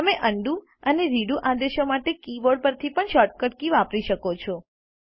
તમે અન્ડું અને રીડુ આદેશો માટે કી બોર્ડ પરથી શોર્ટ કટ કીઓ વાપરી શકો છો